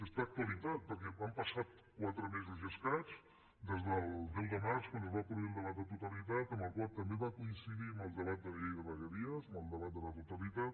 és actualitat perquè han passat quatre mesos i escaig des del deu març quan es va produir el debat de totalitat el qual també va coincidir amb el debat de la llei de vegueries amb el debat de la totalitat